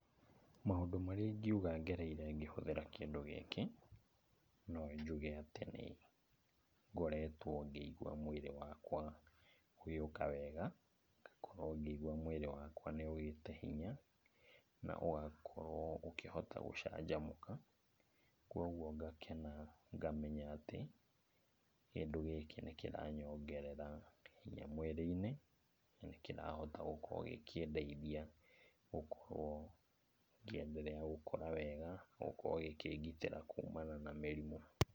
Maũndũ marĩa ingiuga ngereire ngĩhũthĩra kĩndũ gĩkĩ, no njuge atĩ nĩngoretwo ngĩigua atĩ mwĩrĩ wakwa ũgĩũka wega, ngakorwo ngĩigua mwĩrĩ wakwa nĩ ũgĩte hinya, na ũgakorwo ũkĩhota gũcanjamũka. Kuoguo ngakena ngamenya atĩ kĩndũ gĩkĩ nĩkĩranyongerera hinya mwĩrĩ-inĩ, na, nĩkĩrahota gũkorwo gĩkĩndeithia gũkorwo ngĩenderea gũkũra wega, gũkorwo gĩkĩngitĩra kumana na mĩrimũ.